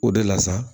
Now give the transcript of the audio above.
O de la sa